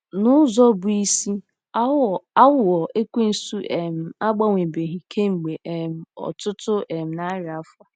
N'ụzọ bụ́ isi, aghụghọ Ekwensu um agbanwebeghị kemgbe um ọtụtụ um narị afọ.